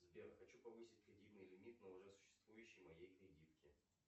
сбер хочу повысить кредитный лимит на уже существующей моей кредитке